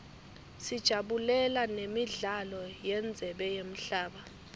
sajabulela nemidlalo yendzebe yemhlaba